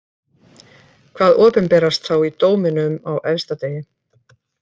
Hvað opinberast þá í dóminum á efsta degi?